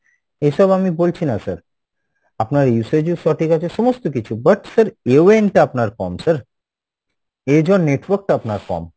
এসব আমি বলছি না sir, আপনার usage ও সঠিক আছে সমস্ত কিছু but sir টা আপনার কম sir network টা আপনার কম।